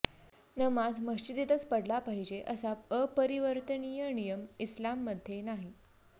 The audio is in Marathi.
नमाज मशिदीतच पढला पाहिजे असा अपरिवर्तनीय नियम इस्लाममध्ये नाही